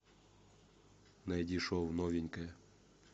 найди шоу новенькая